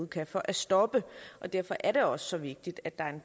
kan for at stoppe derfor er det også så vigtigt at der er en